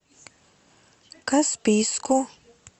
каспийску